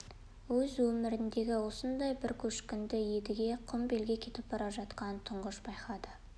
өз өміріндегі осындай бір көшкінді едіге құмбелге кетіп бара жатқанда тұңғыш байқады